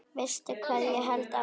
Veistu hvað ég hélt áðan?